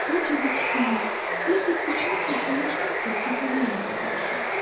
Ancaq ikisini yaxud üçünü saxlamışdım ki, kəpənəyə əmələ gəlsin.